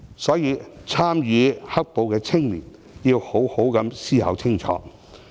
所以，參與"黑暴"的青年要好好思考清楚。